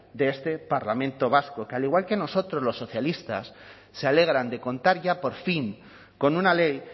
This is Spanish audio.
de este parlamento vasco que al igual que nosotros los socialistas se alegran de contar ya por fin con una ley